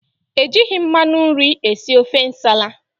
Ejighị mmanụ nri esi ofe Nsala